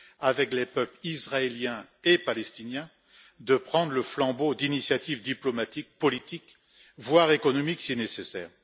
avec les peuples israélien et palestinien, de prendre le flambeau d'initiatives diplomatiques, politiques, voire économiques si nécessaire.